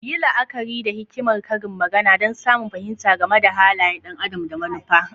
Yi la'akari da hikimar karin magana don samun fahimta game da halayen ɗan adam da manufa.